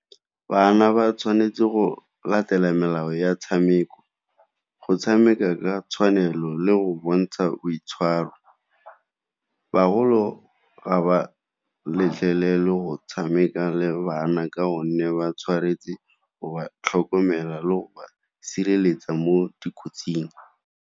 Bana ba tshwanetse go latela melao ya tshameko, go tshameka ka tshwanelo le go bontsha boitshwaro, baholo ga ba letlelele go tshameka le bana ka gonne ba tshwanetse go ba tlhokomela le go ba sireletsa mo dikotsing.